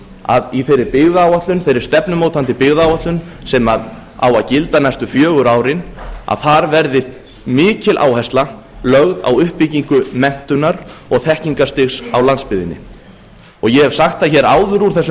að í þeirri byggðaáætlun þeirri stefnumótandi byggðaáætlun sem á að gilda næstu fjögur árin að þar verði mikil áhersla lögð á uppbyggingu menntunar og þekkingarstigs á landsbyggðinni ég hef sagt það hér áður úr þessum